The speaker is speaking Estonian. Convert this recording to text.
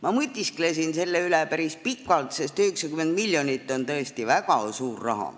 Ma mõtisklesin selle üle päris pikalt, sest 90 miljonit on tõesti väga suur raha.